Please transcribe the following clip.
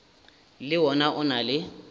le wona o na le